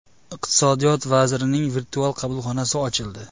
Iqtisodiyot vazirining virtual qabulxonasi ochildi.